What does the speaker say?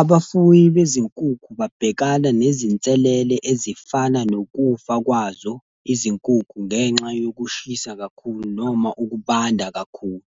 Abafuyi bezinkukhu babhekana nezinselele ezifana nokufa kwazo izinkukhu ngenxa yokushisa kakhulu noma ukubanda kakhulu.